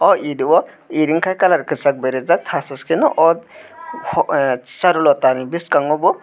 o ed o ed wngke colour kosag bai rijak tas tas ke no ot ko ah charulata ni boskango bo.